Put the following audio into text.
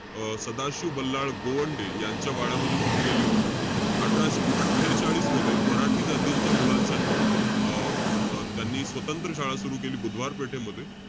अं सदाशिव बल्लाळ गोवंडे यांच्या वाड्यामध्ये सुरु केली होती. अठराशे अट्ठेचाळीस मध्ये, मराठी जातीच्या मुलांसाठी अं अं त्यांनी स्वतंत्र शाळा सुरु केली, बुधवार पेठेमध्ये.